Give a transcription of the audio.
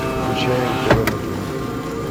включай мтв на тв